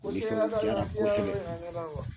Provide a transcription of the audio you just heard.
O sera misɛbɛ yɔrɔ yira ne la